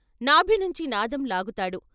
నాభి నుంచి నాదం లాగుతాడు.